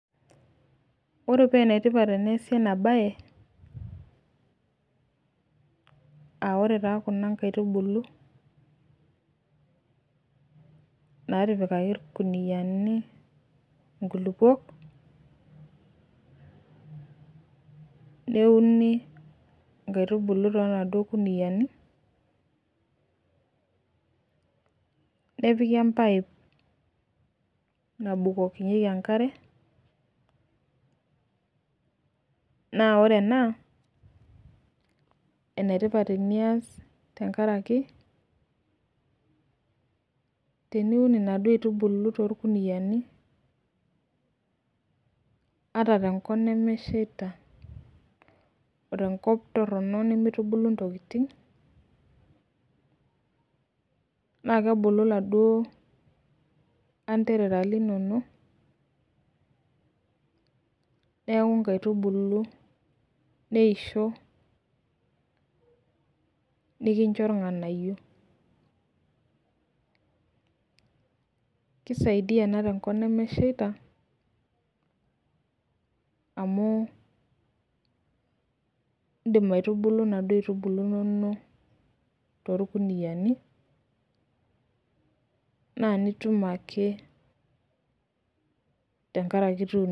Ore peenetipat teneasi enabaye [aa] ore taa kuna nkaitubulu natipikaki ilkuniyani inkulupuok neuni inkaitubulu tonaduo kuniyani, nepiki empaip nabukokinyeki enkare naa ore ena enetipat tenias tengaraki teniun inaduo aitubulu tolkuniyani ata tenkop nemeshaita, o tenkop torrono nemeitubulu ntokitin naakebulu laduo anterera linono neaku nkaitubulu, neisho nikincho ilng'anayio. Keisaidia ena tenkop nemesheita amuu indim aitubulu naduo aitubulu inono tolkuniyani naa nitum ake tengaraki ituno.